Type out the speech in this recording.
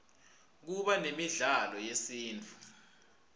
kuba nemidlalo yesintfu